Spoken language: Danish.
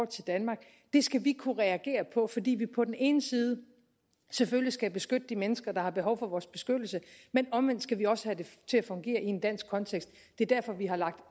til danmark det skal vi kunne reagere på fordi vi på den ene side selvfølgelig skal beskytte de mennesker der har behov for vores beskyttelse men omvendt skal vi også have det til at fungere i en dansk kontekst det er derfor vi har lagt